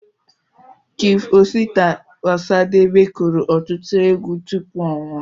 Chief Osita Osadebe kụrụ ọtụtụ egwu tụpụ ọ nwụọ